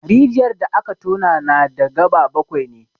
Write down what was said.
Rijiyar da aka tona na da gaba bakwai ne.